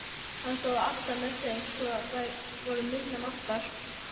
Hann stóð alltaf með þeim sem voru minni máttar.